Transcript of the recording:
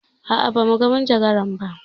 A'a, ba mu ga majagaran ba.